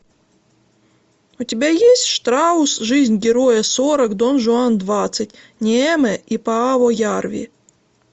у тебя есть штраус жизнь героя сорок дон жуан двадцать неэме и пааво ярви